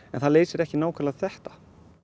en það leysir ekki nákvæmlega þetta